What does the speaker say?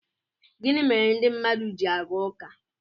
gịnị mere ndị mmadụ ji aga ụka